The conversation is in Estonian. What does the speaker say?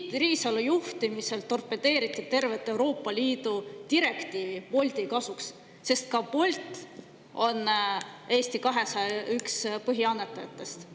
Tiit Riisalo juhtimisel torpedeeriti tervet Euroopa Liidu direktiivi Bolti kasuks, sest ka Bolt on üks Eesti 200 põhiannetajatest.